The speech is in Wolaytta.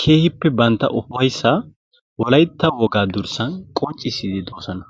keehippe bantta ufayissa wolaytta wogaa durssan qonccissiidi de'oosona.